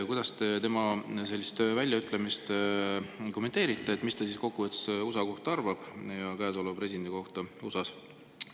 " Kuidas te kommenteerite tema sellist väljaütlemist, arvamust USA ja käesoleva USA presidendi kohta?